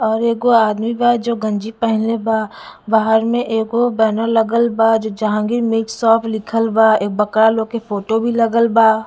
और एगो आदमी बा जो गंजी पहिनले बा बाहर में एगो बैनर लगा बाजो जहांगीर मीट शॉप लिखल बा बकरा लोग के फोटो भी लगल बा--